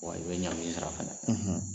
Wa i be ɲagi in sira fɛnɛ